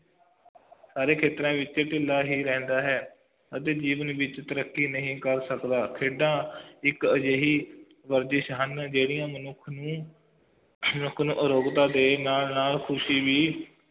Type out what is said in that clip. ਸਾਰੇ ਖੇਤਰਾਂ ਵਿਚ ਢਿੱਲਾ ਹੀ ਰਹਿੰਦਾ ਹੈ ਅਤੇ ਜੀਵਨ ਵਿਚ ਤਰਕੀ ਨਹੀਂ ਕਰ ਸਕਦਾ ਖੇਡਾਂ ਇੱਕ ਅਜੇਹੀ ਵਰਜਿਸ਼ ਹਨ ਜਿਹੜੀ ਮਨੁੱਖ ਨੂੰ ਸ਼ਰੀਰ ਨੂੰ ਅਰੋਗਤਾ ਤੇ ਨਾਲ ਨਾਲ ਖੁਸ਼ੀ ਵੀ